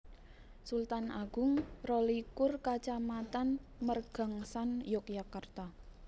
Sultan Agung rolikur Kacamatan Mergangsan Yogyakarta